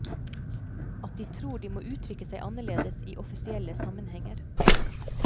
At de tror at de må uttrykke seg annerledes i offisielle sammenhenger.